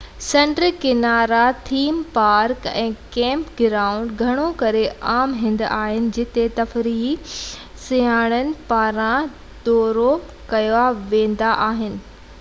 سمنڊ ڪنارا theme park ۽ camp ground گهڻو ڪري عام هنڌ آهن جتي تفريحي سياحن پاران دورو ڪيا ويندا آهن